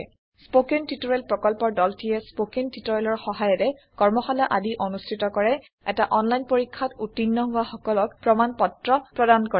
spoken tutorial প্ৰকল্পৰ দলটিয়ে spoken টিওটৰিয়েলৰ সহায়েৰে কৰ্মশালা আদি অনুষ্ঠিত কৰে এটা অনলাইন পৰীক্ষাত উত্তীৰ্ণ হোৱা সকলক প্ৰমাণ পত্ৰ প্ৰদান কৰে